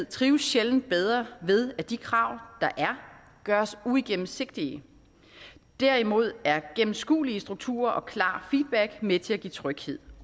trives sjældent bedre ved at de krav der er gøres uigennemsigtige derimod er gennemskuelige strukturer og klar feedback med til at give tryghed